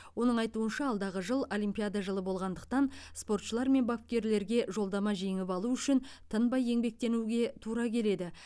оның айтуынша алдағы жыл олимпиада жылы болғандықтан спортшылар мен бапкерлерге жолдама жеңіп алу үшін тынбай еңбектенуге тура келеді